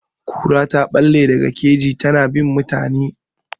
Kura ta ɓalle daga kejin ta, ta na bin mutane.